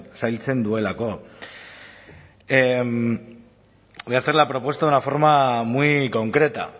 zailtzen duelako voy a hacer la propuesta de una forma muy concreta